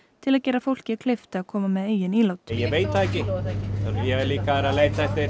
til að gera fólki kleift að koma með eigin ílát ég veit það ekki ég hef líka verið að leita eftir